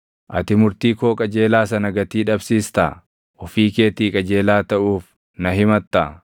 “Ati murtii koo qajeelaa sana gatii dhabsiistaa? Ofii keetii qajeelaa taʼuuf na himattaa?